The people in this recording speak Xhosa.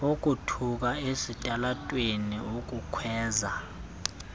ukuthuka esitalatweni ukukhwaza